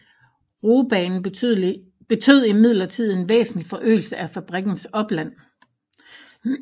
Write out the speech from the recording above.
Roebanen betød imidlertid en væsentlig forøgelse af fabrikkens opland